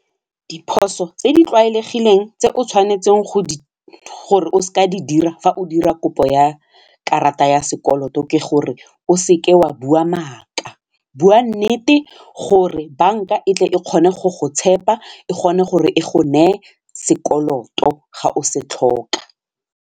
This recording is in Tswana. Diphoso tse di tlwaelegileng tse o tshwanetseng gore o seke wa di dira fa o dira kopo ya karata ya sekoloto ke gore o seke wa bua maaka, bua nnete gore banka etle e kgone go go tshepa e kgone gore e go neye sekoloto ga o se tlhoka.